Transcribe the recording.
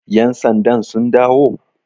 yansandan sun dawo?